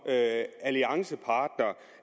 alliancepartner